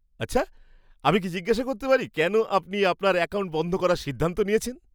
আচ্ছা। আমি কি জিজ্ঞাসা করতে পারি কেন আপনি আপনার অ্যাকাউন্ট বন্ধ করার সিদ্ধান্ত নিয়েছেন?